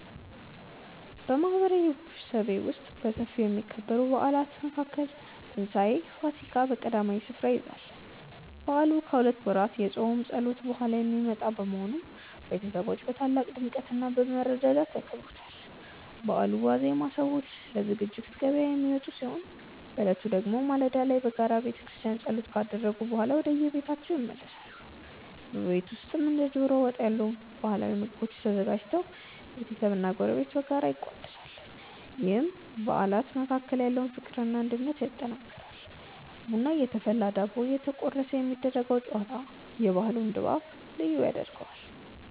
በማህበረሰቤ ውስጥ በሰፊው ከሚከበሩ በዓላት መካከል የትንሳኤ (ፋሲካ) በዓል ቀዳሚውን ስፍራ ይይዛል። በዓሉ ከሁለት ወራት የጾም ጸሎት በኋላ የሚመጣ በመሆኑ፣ ቤተሰቦች በታላቅ ድምቀትና በመረዳዳት ያከብሩታል። በበዓሉ ዋዜማ ሰዎች ለዝግጅት ገበያ የሚወጡ ሲሆን፣ በዕለቱ ደግሞ ማለዳ ላይ በጋራ በቤተክርስቲያን ጸሎት ካደረጉ በኋላ ወደየቤታቸው ይመለሳሉ። በቤት ውስጥም እንደ ዶሮ ወጥ ያሉ ባህላዊ ምግቦች ተዘጋጅተው ቤተሰብና ጎረቤት በጋራ ይቋደሳሉ፤ ይህም በአባላት መካከል ያለውን ፍቅርና አንድነት ያጠናክራል። ቡና እየተፈላና ዳቦ እየተቆረሰ የሚደረገው ጨዋታ የበዓሉን ድባብ ልዩ ያደርገዋል።